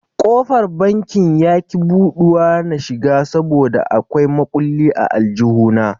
Kofar banki yaki buɗuwa na shiga saboda a kwai makulli a aljihu na.